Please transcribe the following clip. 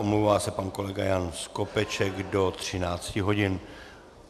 Omlouvá se pan kolega Jan Skopeček do 13 hodin.